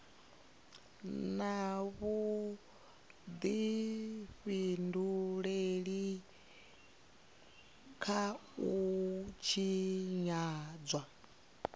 na vhudifhinduleli kha u tshinyadzwa